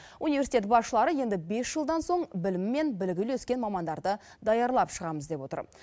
университет басшылары енді бес жылдан соң білімі мен білігі үйлескен мамандарды даярлап шығамыз деп отыр